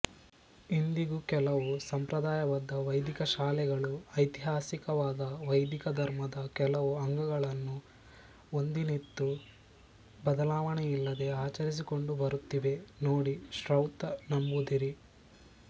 ಇಂದಿಗೂ ಕೆಲವು ಸಂಪ್ರದಾಯಬದ್ಧ ವೈದಿಕಶಾಲೆಗಳು ಐತಿಹಾಸಿಕವಾದ ವೈದಿಕ ಧರ್ಮದ ಕೆಲವು ಅಂಗಗಳನ್ನು ಒಂದಿನಿತೂ ಬದಲಾವಣೆಯಿಲ್ಲದೆ ಆಚರಿಸಿಕೊಂಡುಬರುತ್ತಿವೆ ನೋಡಿ ಶ್ರೌತ ನಂಬೂದಿರಿ